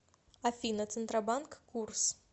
афина центробанк курс